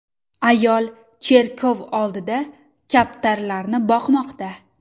Ayol cherkov oldida kaptarlarni boqmoqda.